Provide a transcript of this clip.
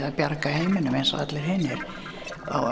að bjarga heiminum eins og allir hinir